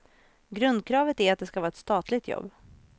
Grundkravet är att det ska vara ett statligt jobb.